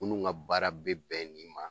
Munnu ŋa baara be bɛn nin ma